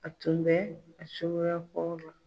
A tun bɛ a cogoya kɔrɔ la.